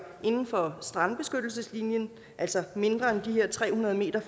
inden for strandbeskyttelseslinjen altså mindre end de her tre hundrede